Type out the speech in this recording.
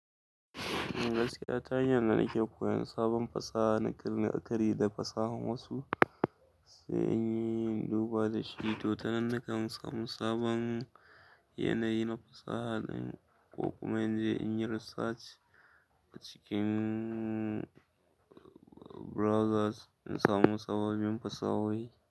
Gaskiya ta hayan dana ke koyon sabon fasaha, na kan la'aƙari da fasahan wasu sai in yi duba da shi. To, tanan nakan samu sabon yanayi na fasaha, k kuma in je in yi research cikin browsers in samu sababbin fasahohi.